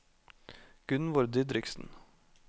Gunnvor Didriksen